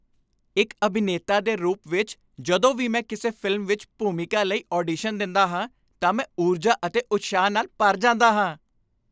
ਇੱਕ ਅਭਿਨੇਤਾ ਦੇ ਰੂਪ ਵਿੱਚ, ਜਦੋਂ ਵੀ ਮੈਂ ਕਿਸੇ ਫਿਲਮ ਵਿੱਚ ਭੂਮਿਕਾ ਲਈ ਆਡੀਸ਼ਨ ਦਿੰਦਾ ਹਾਂ ਤਾਂ ਮੈਂ ਊਰਜਾ ਅਤੇ ਉਤਸ਼ਾਹ ਨਾਲ ਭਰ ਜਾਂਦਾ ਹਾਂ।